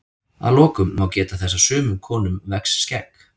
að lokum má geta þess að sumum konum vex skegg